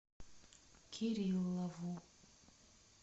кириллову